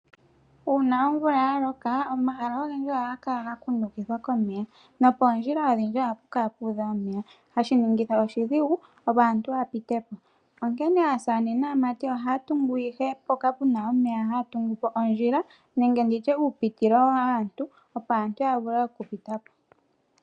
Uuna omvula ya loka omahala ogendji ohaga kala gakundukithwa komeya nopoondjila odhindji ohapu kala pu udha omeya hashi ningitha oshidhigu opo aantu yapitepo. Onkene aasamane naamati ohaya tungu ihe mpoka puna omeya haya tungu po ondjila nenge nditye uupitilo waantu opo aantu ya vule okupitapo.